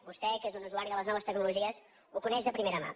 vostè que és un usuari de les noves tecnologies ho coneix de primera mà